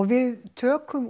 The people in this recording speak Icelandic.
við tökum